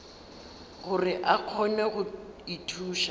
gore a kgone go ithuša